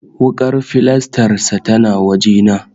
Wuƙar filastar sa tana waje na